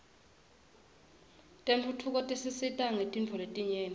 tentfutfuko tisisita ngetintfo letinyenti